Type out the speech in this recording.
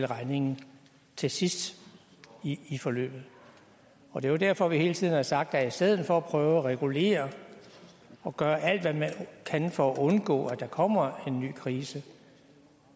regningen til sidst i forløbet og det er derfor at vi hele tiden har sagt at i stedet for at prøve at regulere og gøre alt hvad man kan for at undgå at der kommer en ny krise